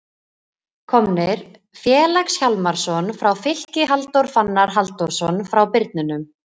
Komnir: Felix Hjálmarsson frá Fylki Halldór Fannar Halldórsson frá Birninum